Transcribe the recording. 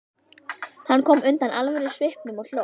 Hann kom undan alvörusvipnum og hló.